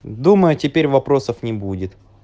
думаю теперь вопросов не будет